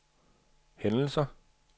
hændelser